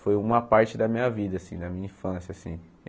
Foi uma parte da minha vida, assim da minha infância assim.